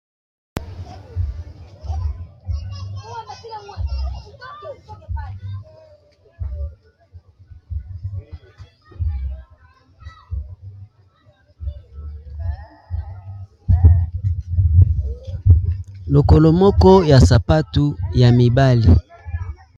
Lokolo moko ya sapatu ya mibali.